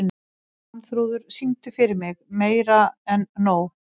Svanþrúður, syngdu fyrir mig „Meira En Nóg“.